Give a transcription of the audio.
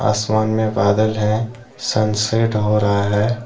आसमान में बादल है सन सेट हो रहा है।